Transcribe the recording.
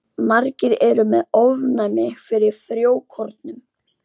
Margir eru með ofnæmi fyrir frjókornum.